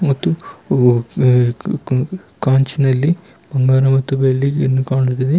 ಮತ್ತು ಓ ಕ ಕಾಂಜಿನಲ್ಲಿ ಬಂಗಾರ ಬೆಳ್ಳಿಯನ್ನು ಕಾಣುತ್ತಿದೆ.